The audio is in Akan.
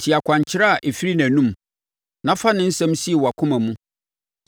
Tie akwankyerɛ a ɛfiri nʼanom, na fa ne nsɛm sie wʼakoma mu.